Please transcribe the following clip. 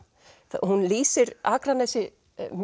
hún lýsir Akranesi